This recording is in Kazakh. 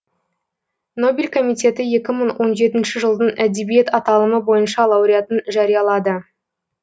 нобель комитеті екі мың он жетінші жылдың әдебиет аталымы бойынша лауреатын жариялады